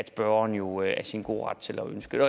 spørgeren jo er i sin gode ret til at ønske